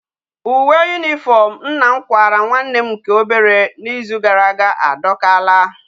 Uwe uniform nna m kwara nwa nne nke obere na Izu uka gara aga a dokala